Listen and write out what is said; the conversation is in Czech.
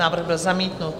Návrh byl zamítnut.